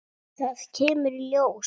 Þetta kemur í ljós!